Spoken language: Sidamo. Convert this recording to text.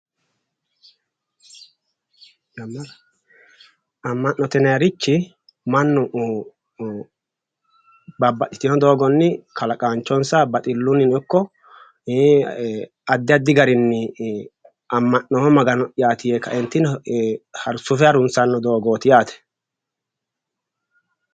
ama'note yinayirichi mannu babbaxitino doogonni kalaqaanichonisa baxilunnino ikko addi addi garinni am'noomo magano'yati yee kaeenitinni sufe harunisanno doogoti yaate